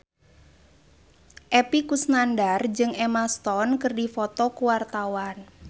Epy Kusnandar jeung Emma Stone keur dipoto ku wartawan